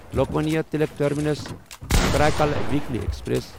Lokmanya Tilak terminus Karaikal weekly express